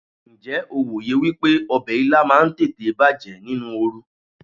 Ǹjẹ́ o wòye wípé ọbẹ̀ Ilá máa ń tètè bàjẹ́ nínú oru?